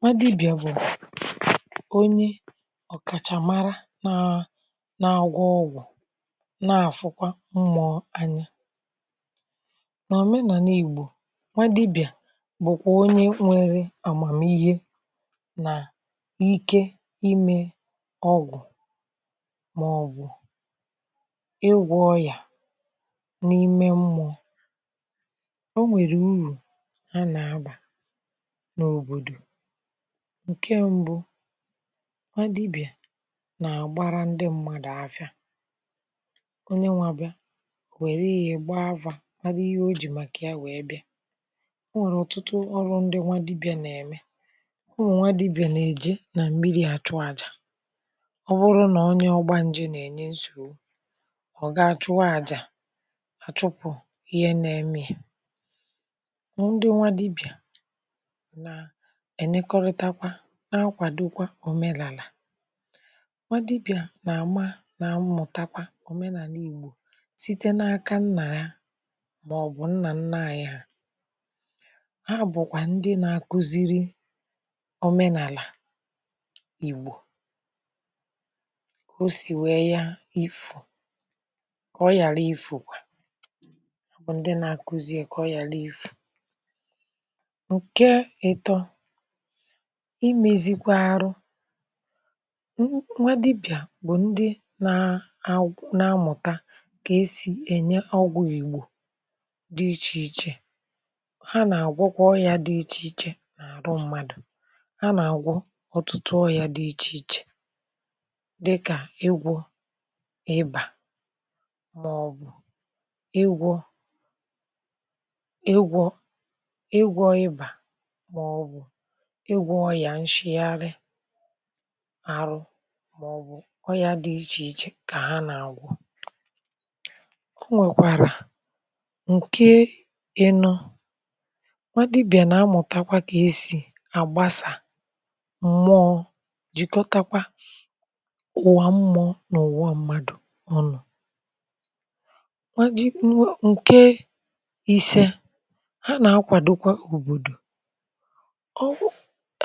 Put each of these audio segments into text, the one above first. nwadibịa bụ̀ onye ọ̀kàchà mara na na agwọ ọgwụ̀ na-àfụkwa mmụọ anya nà omenà n’ìgbu̇ nwadibịà bụkwà onye nwere àgbàm ihe nà ike ime ọgwụ̀ màọbụ̀ ịgwọ̇ ya n’ime mmụọ o nwèrè urù ha nà abà ǹke mbụ wadibị̀à nà-àgbara ndị mmadụ̀ afịà onye nwȧ bịa wère ihė gba afȧ waru ihe o jì màkà ya wee bịa o nwèrè ọ̀tụtụ ọrụ ndị wadibị̀à nà-ème ọ nwẹ̀ nwadibị̀à nà-èje nà mmiri àchụ àjà ọ bụrụ nà onye ọgba njè nà-ènye nsòro ọ̀ ga-achụ wajà àchụpụ̀ ihe nà-eme ihe ẹ̀nẹkọrịtakwa n’akwàdokwa òmenàlà nwa dibị̀à nà-àma nà mmụ̀takwa òmenàlà ìgbò site n’aka nnàla màọ̀bụ̀ nnà nna ànyị ha ha bụ̀kwà ndị nà-akụziri òmenàlà ìgbò o sì wee ya ifù kọ ya li ifù bụ̀ ndị nà-akụzi kọ ya li ifù. Nké ató imėzikwa arụ nwa dibị̀à bụ̀ ndị na àgwọ n’amụ̀ta kà esì ènye ọgwọ̇ ìgbò dị ichè ichè ha nà-àgwọkwà ọrị̇ȧ dị ichè ichè n’àrụ mmadụ̀ ha nà-àgwọ ọtụ̀tụ ọrị̇ȧ dị ichè ichè dịkà egwọ ịbà màọ̀bụ̀ igwọ ịgwọ̇ ọyà nshịarị arụ màọbụ̀ ọyà dị ichè ichè kà ha nà-àgwụ o nwèkwàrà. ǹke eno nwadibị̀à nà-amụ̀takwa kà esì àgbasà m̀mụọ̇ jìkọtakwa ụwà mmụ̇ọ̇ n’ụ̀wụọ mmadù ọnụ̇. ǹke ise ha nà-akwàdokwa òbòdò ọ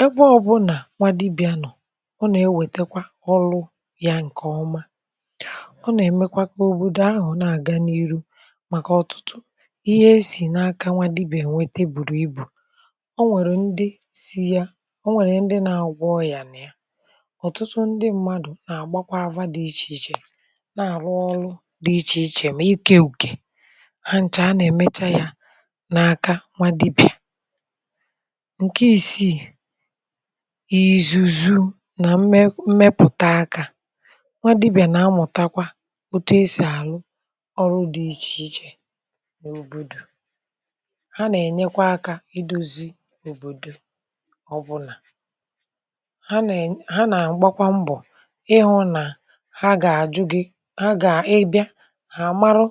ebe ọbụnà nwadibịanọ̀ ọ nà-ewètekwa ọlụ ya ǹkè ọma ọ nà-èmekwa kà òbòdò ahụ̀ na-àga n’iru màkà ọ̀tụtụ ihe esì n’aka nwadibịanweta bùrù ibù ọ nwèrè ndị si ya ọ nwèrè ndị na-agba ọyà ǹya ọ̀tụtụ ndị mmadụ̀ na-àgbakwa àwa dị ichè ichè na-àrụ ọrụ dị ichè ichè mà ikė ùkè ha ǹchà a nà-èmecha ya n’aka nwadibịa. Nké isii ìzùzu nà mmẹpụ̀ta aka nwa dibị̀à nà-amụ̀takwa otu esì àrụ ọrụ dị̇ ichè ichè n’òbòdò ha nà-ènyekwa aka idozi òbòdò ọbụlà ha nà ha nà-àgbakwa mbọ̀ ịhụ̇ nà ha gà-àjụ gị ha gà-ẹbẹ hà àmarụ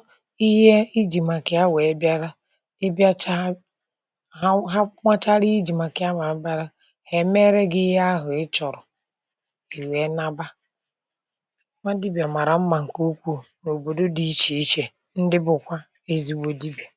ihe ijì màkà ha wèe bịara hèmere gị ihe ahụ ị chọ̀rọ̀ kè wèe n’agba ọ nwere dibị̀à màrà mmà ǹkè ukwuu n’òbòdò dị ichè ichè ndị bụ̀kwa ezigbo dibị̀à.